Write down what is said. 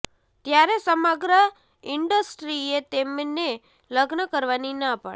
ત્યારે સમગ્ર ઇન્ડસ્ટ્રીએ તેમને લગ્ન કરવાની ના પાડી